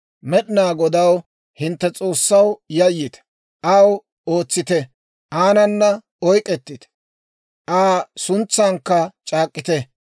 Med'inaa Godaw, hintte S'oossaw, yayyite; aw ootsite; aanana oyk'k'etite; Aa suntsankka c'aak'k'ite.